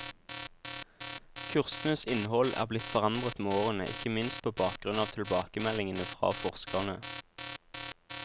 Kursenes innhold er blitt forandret med årene, ikke minst på bakgrunn av tilbakemeldingene fra forskerne.